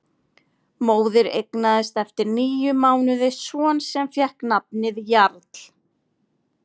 Móðir eignaðist eftir níu mánuði son sem fékk nafnið Jarl.